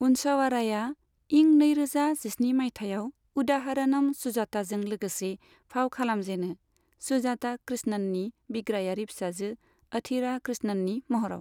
अनसावाराया इं नैरोजा जिस्नि माइथायाव उदाहरनम सुजाताजों लोगोसे फाव खालामजेनो, सुजाता कृष्णननि बिग्रायारि फिसाजो अथिरा कृष्णननि महराव।